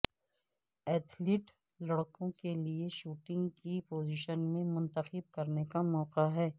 athlete لڑکوں کے لئے شوٹنگ کی پوزیشن میں منتخب کرنے کا موقع ہے